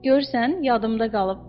Görürsən, yadımda qalıb.